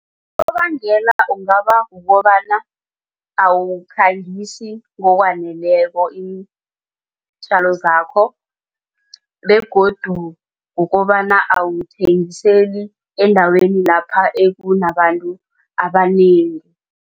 ungaba kukobana awukhangisi ngokwaneleko iintjalo zakho begodu kukobana awuthengiseli endaweni lapha ekunabantu abanengi.